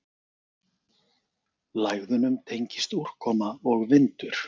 Lægðunum tengist úrkoma og vindur.